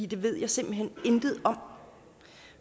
det ved jeg simpelt hen intet om